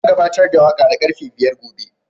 Zan gabatar da waƙa da karfe biyar gobe.